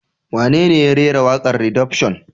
Wanene ya rera waƙar Redemption?